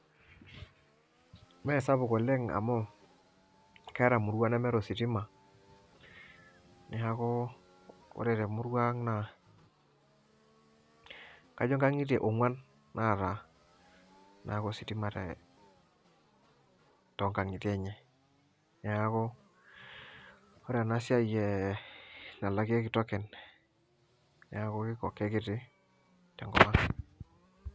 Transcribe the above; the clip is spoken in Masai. Mee sapuk oleng amu keata murua nemeeta ositima neaku ore te murua ang naa kajo inkangitie onguan naata ositima too nkangitie enye neaku ore ena siai nalakieki tokens neaku kekiti te nkop ang.